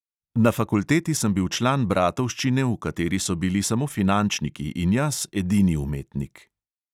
Na fakulteti sem bil član bratovščine, v kateri so bili samo finančniki in jaz edini umetnik.